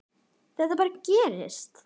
Þetta bara gerist.